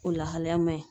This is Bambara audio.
O lahalaya man ɲi